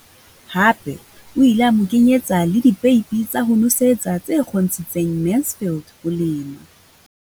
Hape o ile a mo kenyetsa le dipeipi tsa ho nosetsa tse kgontshitseng Mansfield ho lema.